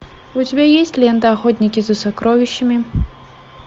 у тебя есть лента охотники за сокровищами